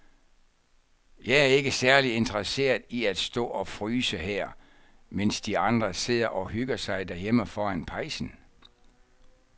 Jeg er ikke særlig interesseret i at stå og fryse her, mens de andre sidder og hygger sig derhjemme foran pejsen.